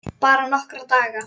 Bara nokkra daga.